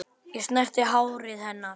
Ég snerti hárið hennar.